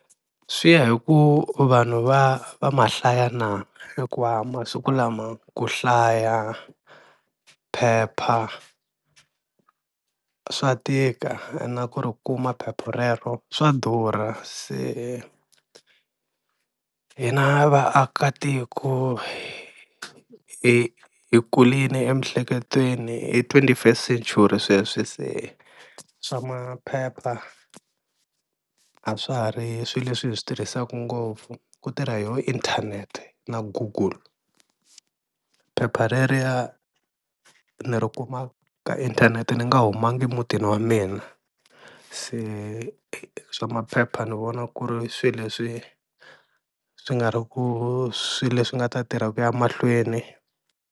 Swi ya hi ku vanhu va va ma hlaya na hikuva masiku lama ku hlaya phepha swa tika na ku ri kuma phepha rero swa durha, se hina vaakatiko hi hi kurile emiehleketweni i twenty first century sweswi, se swa maphepha a swa ha ri swilo leswi hi swi tirhisaka ngopfu ku tirha yoho inthanete na google, phepha reriya ni ri kuma ka inthanete ni nga humangi mutini wa mina se swa maphepha ni vona ku ri swilo leswi swi nga ri ku swilo leswi nga ta tirha ku ya mahlweni.